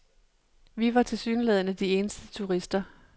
Vi var tilsyneladende de eneste turister.